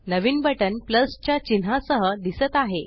नवीन button plus अदीक च्या चिन्हासह दिसत आहे